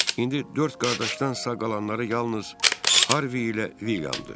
İndi dörd qardaşdansa qalanları yalnız Harvi ilə Vilyamdır.